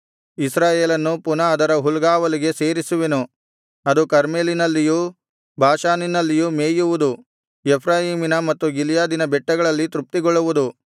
ಇಸ್ರಾಯೇಲನ್ನು ಪುನಃ ಅದರ ಹುಲ್ಗಾವಲಿಗೆ ಸೇರಿಸುವೆನು ಅದು ಕರ್ಮೆಲಿನಲ್ಲಿಯೂ ಬಾಷಾನಿನಲ್ಲಿಯೂ ಮೇಯುವುದು ಎಫ್ರಾಯೀಮಿನ ಮತ್ತು ಗಿಲ್ಯಾದಿನ ಬೆಟ್ಟಗಳಲ್ಲಿ ತೃಪ್ತಿಗೊಳ್ಳುವುದು